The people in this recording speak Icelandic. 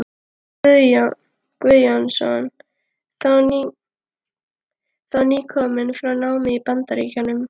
Guðjónsson, þá nýkominn frá námi í Bandaríkjunum.